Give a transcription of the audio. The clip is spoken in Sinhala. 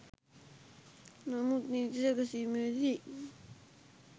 නමුත් නීති සැකසීමේදී